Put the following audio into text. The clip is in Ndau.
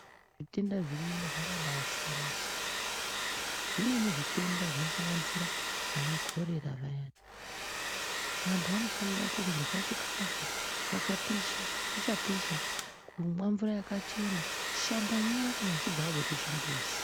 Zvitenda zviriyo zvakabaisiyana siyana zvimweni zvitenda zvinosanganisira anaCholera antu anofanira kurwa chikafu chakapisha chichapisha kushamba nyara kana achinge abva kuchimbuzi.